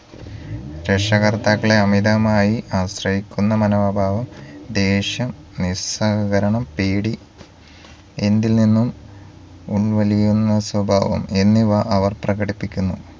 രക്ഷകർത്താക്കളെ അമിതമായി ആശ്രയിക്കുന്ന മനോഭാവം ദേഷ്യം നിസ്സഹകരണം പേടി എന്തിൽ നിന്നും ഉൾവലിയുന്ന സ്വഭാവം എന്നിവ അവർ പ്രകടിപ്പിക്കുന്നു